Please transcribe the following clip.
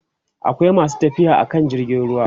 akwai masu tafiya akan jirgin ruwa